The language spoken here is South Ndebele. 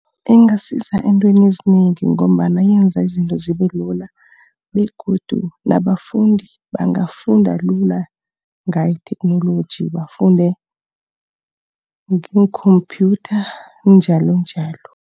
Ingasiza eentweni ezinengi ngombana yenza izinto zibe lula, begodu nabafundi bangafunda lula ngayo itheknoloji. Bafunde ngeenkhompyutha, njalonjalo.